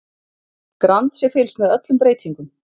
Grannt sé fylgst með öllum breytingum